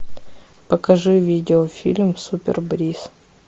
покажи видеофильм супер брис